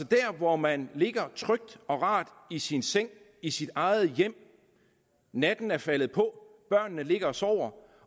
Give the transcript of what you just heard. der hvor man ligger trygt og rart i sin seng i sit eget hjem natten er faldet på børnene ligger og sover